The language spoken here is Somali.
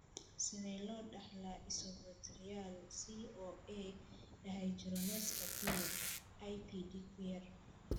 Sidee loo dhaxlaa isobutyryl CoA dehydrogenaska kuyaar (IBD kuyaar)?